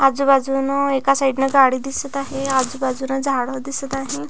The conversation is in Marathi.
आजूबाजून एका साइड न गाडी दिसत आहे आजूबाजून झाड दिसत आहे.